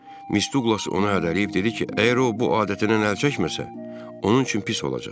Miss Duqlas ona hədələyib dedi ki, əgər o bu adətindən əl çəkməsə, onun üçün pis olacaq.